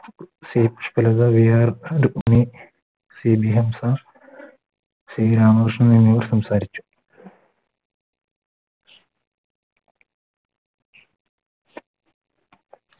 CB Hamsa C Ramakrishnan എന്നിവർ സംസാരിച്ചു